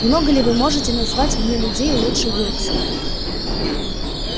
много ли вы можете назвать мне людей лучше уилксов